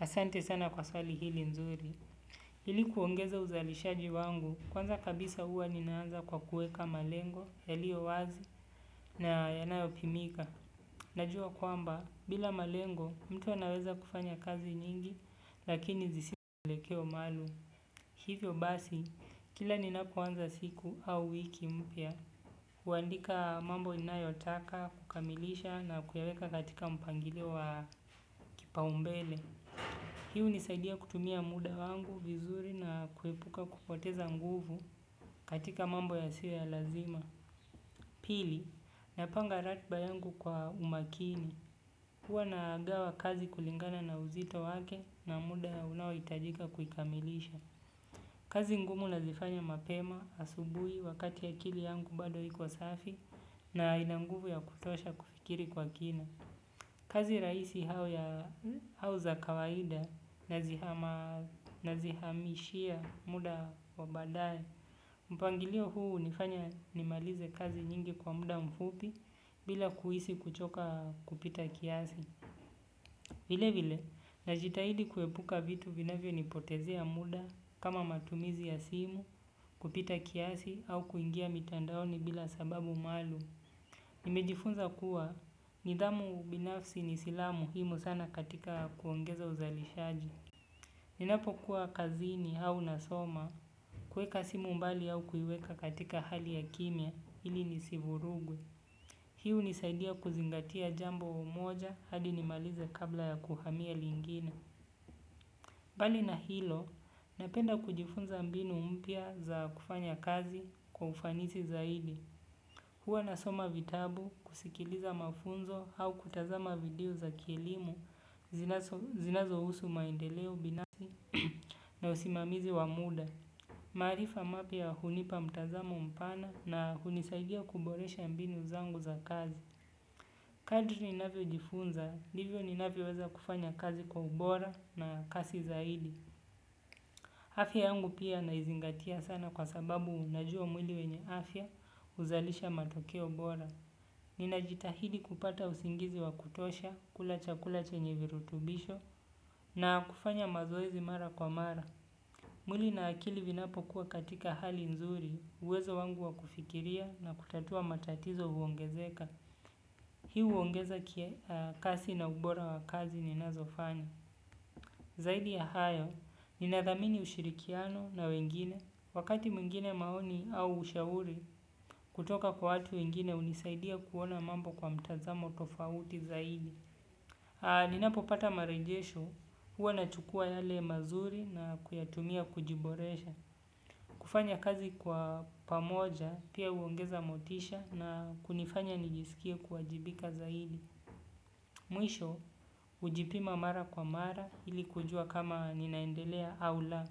Asante sana kwa swali hili nzuri. Ili kuongeza uzalishaji wangu, kwanza kabisa huwa ninaanza kwa kuweka malengo, yalio wazi, na yanayopimika. Najua kwamba, bila malengo, mtu anaweza kufanya kazi nyingi, lakini zisizo na mwelekeo maalum. Hivyo basi, kila ninapoanza siku au wiki mpya, huandika mambo ninayotaka, kukamilisha na kuyaweka katika mpangilio wa kipaumbele. Hii hunisaidia kutumia muda wangu vizuri na kuepuka kupoteza nguvu katika mambo yasio ya lazima. Pili, napanga ratiba yangu kwa umakini. Huwa nagawa kazi kulingana na uzito wake na muda unaohitajika kuikamilisha. Kazi ngumu nazifanya mapema asubuhi wakati akili yangu bado iko safi na ina nguvu ya kutosha kufikiri kwa kina. Kazi rahisi au za kawaida nazihamishia muda wa badae. Mpangilio huu hunifanya nimalize kazi nyingi kwa muda mfupi bila kuhisi kuchoka kupita kiasi. Vile vile, najitahidi kuepuka vitu vinavyo nipotezea muda kama matumizi ya simu kupita kiasi, au kuingia mitandaoni bila sababu maalum. Nimejifunza kuwa nidhamu binafsi ni silaha muhimu sana katika kuongeza uzalishaji. Ninapokuwa kazini au nasoma, huweka simu mbali au kuiweka katika hali ya kimya ili nisivurugwe. Hii hunisaidia kuzingatia jambo moja hadi nimalize kabla ya kuhamia lingine. Blali na hilo napenda kujifunza mbinu mpya za kufanya kazi kwa ufanisi zaidi. Huwa nasoma vitabu kusikiliza mafunzo au kutazama video za kielimu zinazohusu maendeleo binasi na usimamizi wa muda. Maarifa mapya hunipa mtazamo mpana na hunisaidia kuboresha mbinu zangu za kazi. Kadri ninavyojifunza ndivyo ninavyoweza kufanya kazi kwa ubora na kasi zaidi. Afya yangu pia naizingatia sana kwasababu najua mwili wenye afya huzalisha matokeo bora. Ninajitahidi kupata usingizi wa kutosha, kula chakula chenye virutubisho na kufanya mazoezi mara kwa mara. Mwili na akili vinapokuwa katika hali nzuri, uwezo wangu wa kufikiria na kutatua matatizo huongezeka. Hii huongeza kasi na ubora wa kazi ninazofanya. Zaidi ya hayo, ninathamini ushirikiano na wengine, wakati mwingine maoni au ushauri kutoka kwa watu wengine hunisaidia kuona mambo kwa mtazamo tofauti zaidi. Ninapo pata marejesho huwa na chukua yale mazuri na kuyatumia kujiboresha. Kufanya kazi kwa pamoja pia huongeza motisha na kunifanya nijisikie kuajibika zaidi. Mwisho hujipima mara kwa mara ili kujua kama ninaendelea au la.